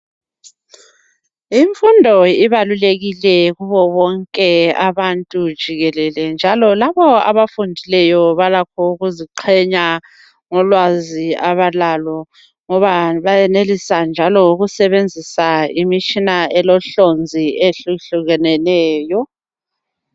Imfundo ibalulekile kubo bonke abantu jikelele. Njalo labo abafundileyo, balakho ukuziqhenya ngolwazi abalalo. Ngoba bayenelisa, njalo ukusebenzisa imitshina, elohlonzi, ehlukehlukeneyo.